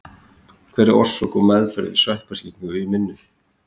Hver er orsök og meðferð við sveppasýkingar í munni?